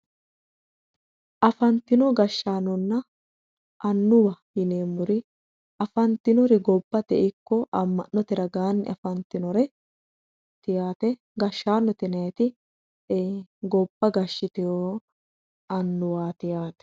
Afantino gashshaano annuwa yineemmori afantinori gobbate ragaan ikko ama'note ragaanni afantinori yaate gashshaanote yinanniri gobba gashshitewo annuwati yaate